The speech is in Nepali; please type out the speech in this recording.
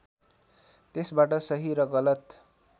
त्यसबाट सही र गलत